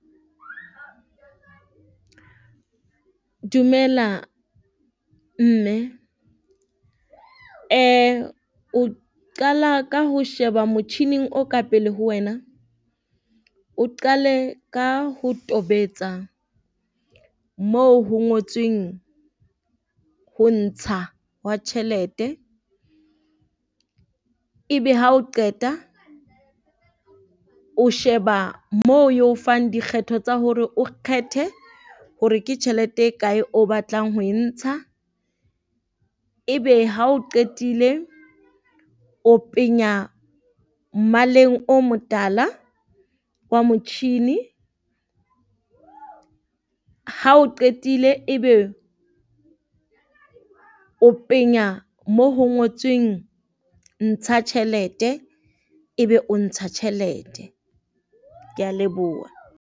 Dumela mme, o qala ka ho sheba motjhining o ka pele ho wena, o qale ka ho tobetsa moo ho ngotsweng ho ntsha hwa tjhelete. Ebe hao qeta o sheba moo eo fang dikgetho tsa hore o kgethe hore ke tjhelete e kae o batlang ho e ntsha, ebe hao qetile o penya mmaleng o motala wa motjhini. Ha o qetile ebe o penya mo ho ngotsweng ntsha tjhelete ebe o ntsha tjhelete. Kea leboha.